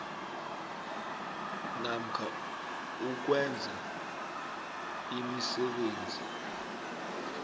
namkha ukwenza imisebenzi